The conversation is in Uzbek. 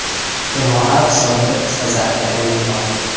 Jamoa hisobida ikkita zaxira o‘yini bor.